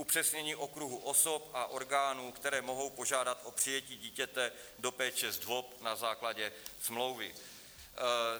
Upřesnění okruhu osob a orgánů, které mohou požádat o přijetí dítěte do péče ZDVOP na základě smlouvy.